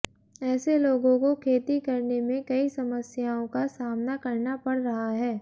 ऐसे लोगों को खेती करने में कई समस्याओं का सामना करना पड़ रहा है